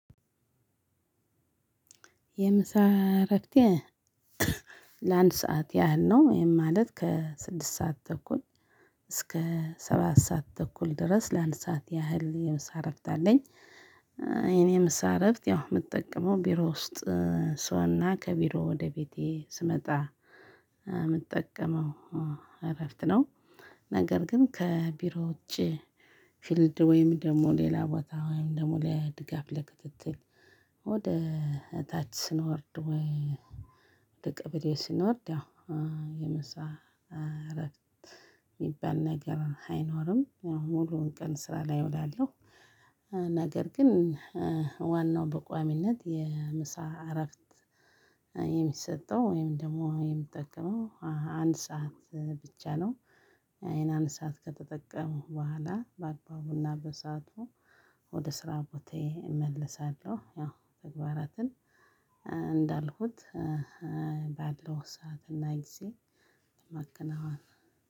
የምሳ እረፍቴ ለአንድ ሰዓት ያህል ነው ይሄን ማለት ከስድስት ሰዓት ተኩል እስከ ሰባት ሰዓት ተኩል ድረስ ለአንድ ሰዓት ያህል የምሳ እረፍት አለኝ። እኔ ምሳ እረፍት ያው የምጠቅመው ቢሮ ውስጥ ሰውና ከቢሮ ወደ ቤቴ ስመጣ የምጠቀመው እረፍት ነው። ነገር ግን ከቢሮ ውጪ ፊልድ ወይም ደግሞ ሌላ ቦታ ወይም ደግሞ ለድጋፍ ለክትትል ወደ እታች ስንወርድ ወደ ቀበሌ ስንወርድ ያው የምሳ እረፍት የሚባል ነገር አይኖርም ሙሉውን ቀን ስራ ላይ እውላለሁ። ነገር ግን ዋናው በቋሚነት የምሳ እረፍት የሚሰጠው ወይም ደግሞ የሚጠቀመው አንድ ሰዓት ብቻ ነው። ይህን አንድ ሰዓት ከተጠቀምኩ በኋላ በአግባቡና በሰአቱ ወደ ስራ ቦታዬ እመለሳለሁ ያው ተግባራትን እንዳልኩት ባለው ሰዓት እና ጊዜ ማከናወን።